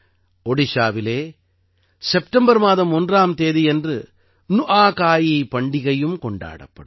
ஓடிஷாவிலே September மாதம் 1ஆம் தேதியன்று நுஆகாயி பண்டிகையும் கொண்டாடப்படும்